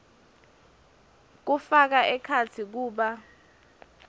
kufaka ekhatsi kuba